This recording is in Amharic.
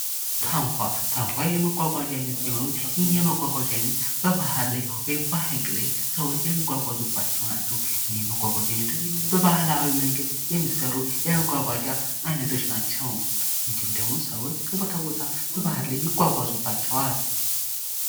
ታንኳ ታንኳ የመጓጓዣ አይነት ሲሆን ይህ የመጓጓዣ አይነት በባህር ላይ ወይም በሃይቅ ላይ የሚጓጓዙባቸው ናቸው። እኒህም የመጓጓዣ አይነቶች በባህላዊ መንገድ የሚሰሩ የመጓጓዣ አይነቶች ናቸው። እንድሁም ደግሞ ሰዎች ከቦታ ቦታ በባሂር ላይ ይጓጓዙባቸውል።